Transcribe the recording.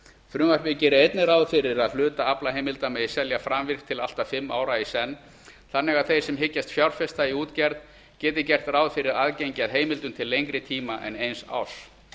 frumvarpið gerir einnig ráð fyrir að hluta aflaheimilda megi selja framvirkt til allt að fimm ára í senn þannig að þeir sem hyggjast fjárfesta í útgerð geti gert ráð fyrir aðgengi að heimildum til lengri tíma en eins árs